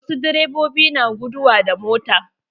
Wasu direbobi na guduwa da mota.